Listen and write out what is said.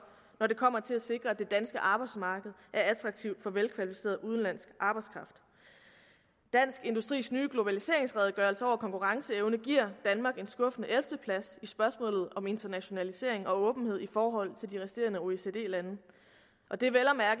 når det kommer til at sikre at det danske arbejdsmarked er attraktivt for velkvalificeret udenlandsk arbejdskraft dansk industris nye globaliseringsredegørelse om konkurrenceevne giver danmark en skuffende plads i spørgsmålet om internationalisering og åbenhed i forhold til de resterende oecd lande og det